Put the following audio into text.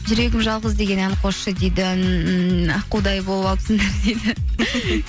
жүрегім жалғыз деген ән қосшы дейді ммм аққудай болып алыпсыңдар дейді